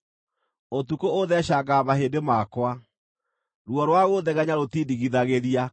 Ũtukũ ũtheecangaga mahĩndĩ makwa; ruo rwa gũthegenya rũtindigithagĩria.